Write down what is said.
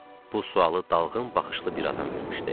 Bu sualı dalğın baxışlı bir adam vermişdi.